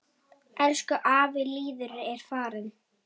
Elsku afi Lýður er farinn.